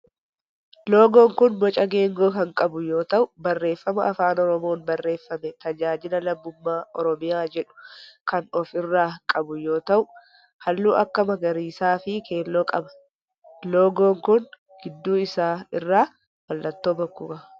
Loogoon kun boca geengoo kan qabu yoo ta'u barreeffama afaan oromoon barreeffame tajaajila lammummaa oromiyaa jedhu kan of irraa qabu yoo ta'u halluu akka magariisaa fi keelloo qaba. Loogoon kun gidduu isaa irraa mallattoo bokkuu qaba.